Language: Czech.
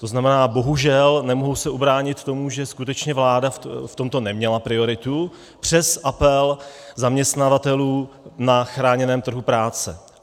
To znamená, bohužel, nemohu se ubránit tomu, že skutečně vláda v tomto neměla prioritu, přes apel zaměstnavatelů na chráněném trhu práce.